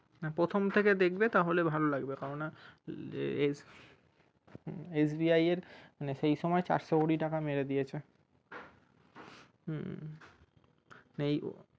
প্রথম থেকে দেখবে তাহলে ভালো লাগবে কেনো না SBI এর মানে সেই সময়ের চারশো কোটি টাকা মেরে দিয়েছে হুম এই